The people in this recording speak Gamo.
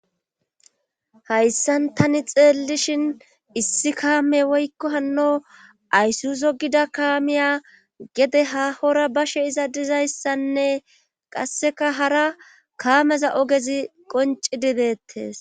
hayssan tani xeellishhin issi kaame woykko hanno aysuso gida kaamiya gede ha hora bashe iza dizayssanne qasseka hara kaameza ogezi qonci dibettes